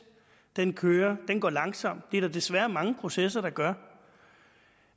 den kører og den går langsomt det er der desværre mange processer der gør